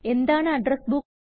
എന്താണ് address book